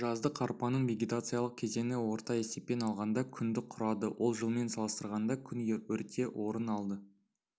жаздық арпаның вегетациялық кезеңі орта есеппен алғанда күнді құрады ол жылмен салыстырғанда күн ерте орын алды